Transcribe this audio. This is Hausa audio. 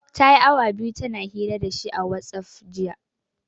Ta yi awa biyu tana hira da shi a watsaf, jiya.